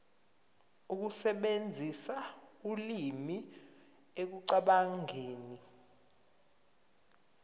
ukusebenzisa ulimi ekucabangeni